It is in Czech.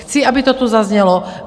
Chci, aby to tu zaznělo.